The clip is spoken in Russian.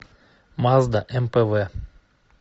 мазда мпв